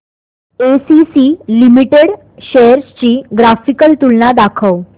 ACC limited shares ची graphical तुलना दाखव